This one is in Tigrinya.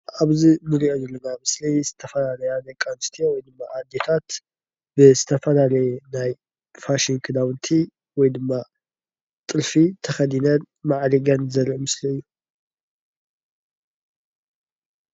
ኣብዚ ንሪኦ ዘለና ምስሊ ዝተፈላለያ ደቂ ኣንስትዮ ወይ ድማ ኣዴታት ብዝተፈላለዩ ናይ ፋሽን ክዳዉንቲ ወይ ድማ ጥልፊ ተኸዲነን ማዕሪገን ዘርኢ ምስሊ እዩ ።